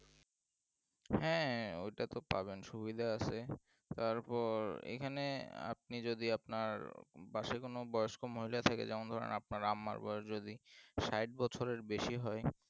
হ্যাঁ ওটাতে পাবেন সুবিধা আছে তারপর এখানে আপনি যদি পাশে কোন বয়স্ক মহিলা থাকে যেমন ধরেন আপনার আমার বা যদি ষাট বছরের বেশি হয়